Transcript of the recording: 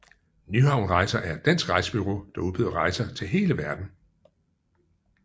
Nyhavn Rejser er et dansk rejsebureau der udbyder rejser til hele verden